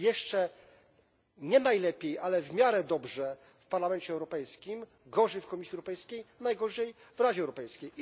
Jeszcze nienajlepiej, ale w miarę dobrze jest w Parlamencie Europejskim, gorzej w Komisji Europejskiej, najgorzej w Radzie Europejskiej.